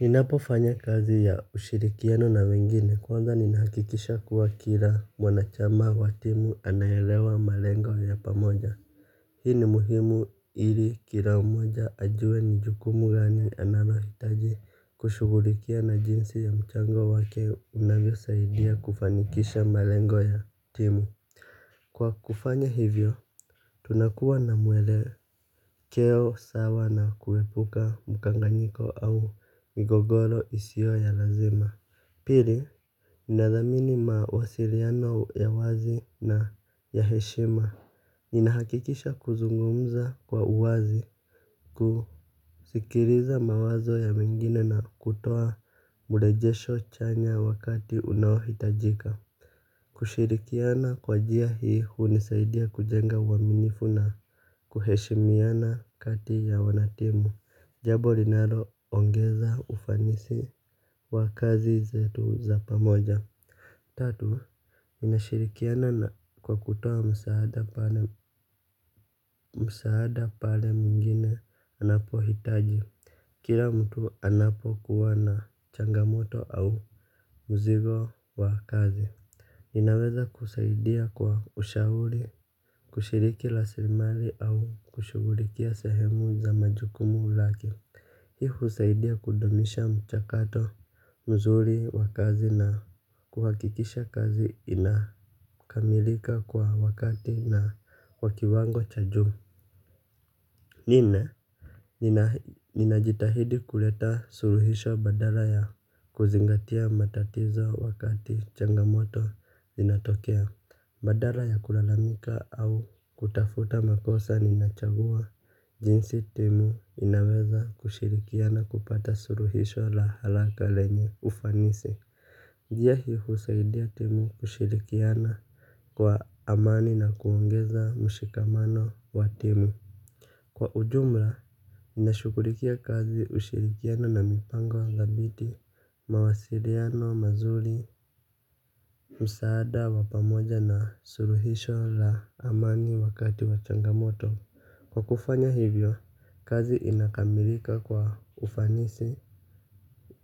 Ninapo fanya kazi ya ushirikiano na wengine kwanza ninahakikisha kuwa kila mwanachama wa timu anaelewa malengo ya pamoja. Hii ni muhimu ili kila mmoja ajue ni jukumu gani analohitaji kushugulikia na jinsi ya mchango wake unavyo saidia kufanikisha malengo ya timu. Kwa kufanya hivyo, tunakuwa na mwele keo sawa na kuepuka mkanganyiko au migogoro isiyo ya lazima. Pili, ninadhamini mawasiliano ya wazi na ya heshima. Ninahakikisha kuzungumza kwa uwazi kusikiliza mawazo ya mwingine na kutoa murejesho chanya wakati unaohitajika. Kushirikiana kwa njia hii hunisaidia kujenga uaminifu na kuheshimiana kati ya wanatimu. Jambo linaloongeza ufanisi wakazi zetu za pamoja. Tatu, ninashirikiana kwa kutoa msaada msaada pale mwngine anapohitaji. Kila mtu anapo kuwa na changamoto au muzigo wa kazi. Ninaweza kusaidia kwa ushauri, kushiriki raslimari au kushugulikia sehemu za majukumu lake. Hiu husaidia kudumisha mchakato mzuri wa kazi na kuhakikisha kazi inakamilika kwa wakati na wa kiwango cha juu. Ninajitahidi kuleta suluhisho badala ya kuzingatia matatizo wakati changamoto inatokea. Badala ya kulalamika au kutafuta makosa ninachagua, jinsi timu inaweza kushirikiana kupata suluhisho la haraka lenye ufanisi. Njia hii husaidia timu kushirikiana kwa amani na kuongeza mshikamano wa timu. Kwa ujumla, nashugulikia kazi ushirikiano na mipango wangabiti, mawasiliano, mazuri, msaada, wapamoja na suluhisho la amani wakati wa changamoto. Kwa kufanya hivyo, kazi inakamilika kwa ufanisi